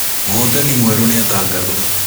Mũhotani mwerũ nĩatangathwo